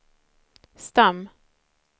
stam